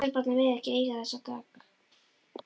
Serbarnir mega ekki eiga þessa dögg!